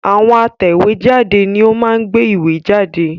Àwọn atẹ̀wé jáde ni ó máa ń gbé ìwé jáde